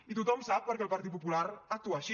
i tothom sap per què el partit popular actua així